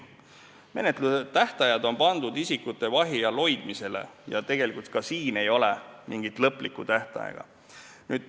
Menetlustähtajad on isikute vahi all hoidmise kohta ja ka siin ei ole mingit lõplikku tähtaega.